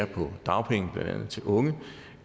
på dagpenge til unge